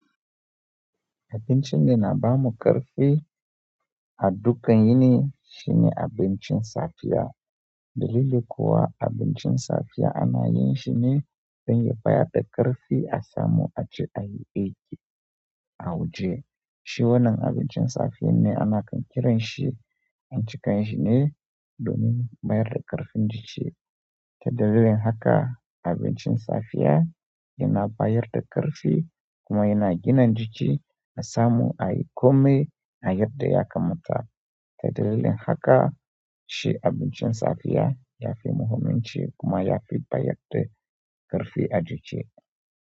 Abincin yana bamu ƙarfi. A dukan yini shine abincin safiya. Dalili kuwa abincin safiya ana yin shi ne don ya bayar da ƙarfi a samu a ji a yi aiki a waje. Shi wannan abincin safiya ne ana ƙiranshi anci ka yin shi ne. Domin bayar da ƙarfin jiki. Ta dalilin haka abincin safiya yana bayar da ƙarfi kuma yana gina jiki na samu a yi kome na yadda ya kammata. Ta dalilin haka shi abincin safiya ya fi muhimmanci kuma ya fi bayar da. Ƙarfi a jiki.